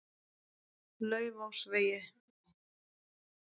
Laufásvegi